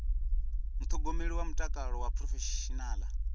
muṱhogomeli wa mutakalo wa phurofeshinala